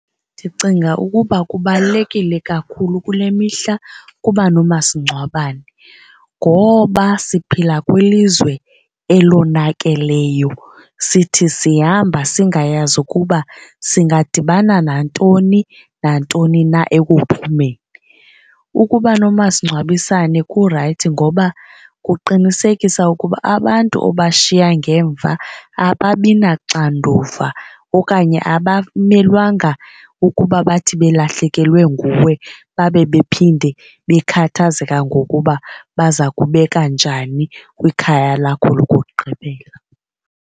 Ndicinga ukuba kubalulekile kakhulu kule mihla kuba nomasingcwabane ngoba siphila kwilizwe elonakeleyo sithi sihamba singayazi ukuba singadibana nantoni nantoni na ekuphumeni. Ukuba nomasingcwabisane kurayithi ngoba kuqinisekisa ukuba abantu obashiya ngemva ababi naxanduva okanye abamelwanga ukuba bathi belahlekelwe nguwe babe bephinde bekhathazeka ngokuba baza kubeka njani kwikhaya lakho lokugqibela.